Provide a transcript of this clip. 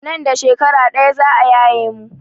Nan da shekara ɗaya za a yaye mu.